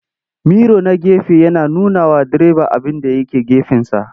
Miro na gefe yana nunawa direba abinda ya ke gefensa.